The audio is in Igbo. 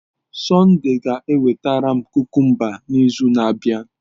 Sunday ga-ewetara m kukumba n'izu na-abịa.